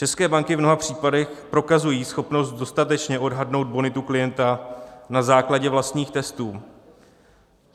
České banky v mnoha případech prokazují schopnost dostatečně odhadnout bonitu klienta na základě vlastních testů.